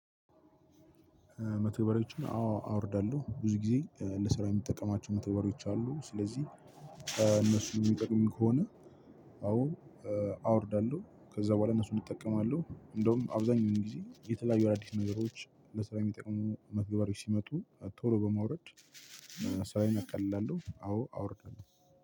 መተግበሪዎችን አወ አወርዳለሁ ብዙ ጊዜ ለስራ የምጠቀማቸው መተግበሪዎች አሉ። ስለዚህ እነሱ የሚጠቅሙን ከሆነ። አዎ አወርዳለሁ ከዛ በኋላ እነሱም እጠቀማለሁ። እንደውም አብዛኛው ጊዜ የተለያዩ አዳዲስ ነገሮች ለስራ የሚጠቅሙ መተገባሪያዎች ሲመጡ ቶሎ በማውረድ። ስራየን አቃልላለሁ አዎ አወርዳለሁ